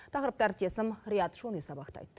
тақырыпты әріптесім риат шони сабақтайды